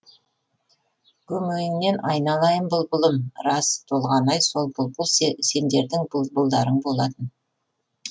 көмейіңнен айналайын бұлбұлым рас толғанай сол бұлбұл сендердің бұлбұлдарың болатын